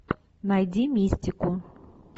найди мистику